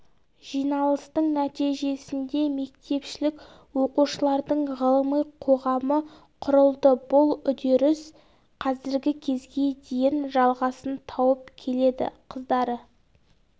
жиналыстың нәтижесінде мектепішілік оқушылардың ғылыми қоғамы құрылды бұл үдеріс қазіргі кезге дейін жалғасын тауып келеді қыздары